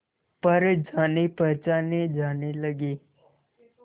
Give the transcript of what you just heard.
पर जानेपहचाने जाने लगे